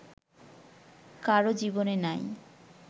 কারো জীবনে নাই